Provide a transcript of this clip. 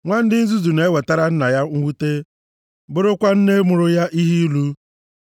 Nwa dị nzuzu na-ewetara nna ya mwute, bụrụkwa nne mụrụ ya ihe ilu.